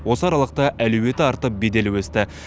осы аралықта әлеуеті артып беделі өсті